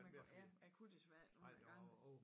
Jeg kunne ja jeg kunne desværre ikke